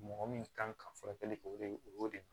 Mɔgɔ min kan ka furakɛli kɛ o de o y'o de ye